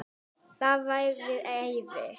Það væri æði